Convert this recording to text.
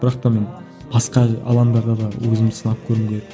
бірақ та мен басқа алаңдарда да өзімді сынап көргім келеді